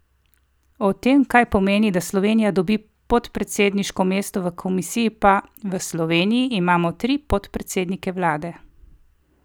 O tem, kaj pomeni, da Slovenija dobi podpredsedniško mesto v komisiji, pa: "V Sloveniji imamo tri podpredsednike vlade.